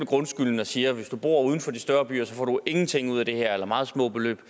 grundskylden og siger at hvis du bor uden for de større byer så får du ingenting ud af det her eller meget små beløb